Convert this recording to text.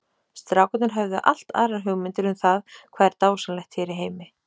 Strákarnir höfðu allt aðrar hugmyndir um það hvað er dásamlegt hér í heimi.